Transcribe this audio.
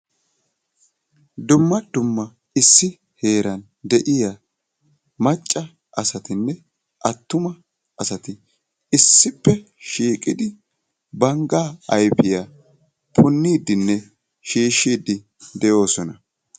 Dumma dumma issi heeran de"iya macca asatinne attuma asati issippe shiiqidi banggaa ayfiya punniiddinne shiishshiiddi de"oosonaa.